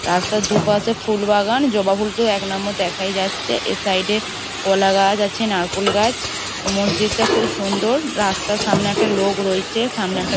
রাস্তার দুপাশে ফুলবাগান জবা ফুল তো এক নাম্বার দেখাই যাচ্ছে এর সাইড -এ কলা গাছ আছে নারকোল গাছ মসজিদটা খুব সুন্দর। রাস্তার সামনে একটা লোক রয়েচে। সামনে একটা--